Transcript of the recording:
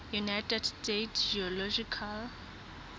united states geological